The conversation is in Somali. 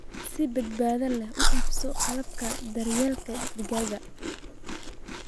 Si badbaado leh u iibso qalabka daryeelka digaagga.